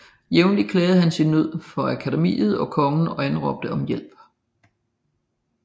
Jævnlig klagede han sin nød for Akademiet og kongen og anråbte om hjælp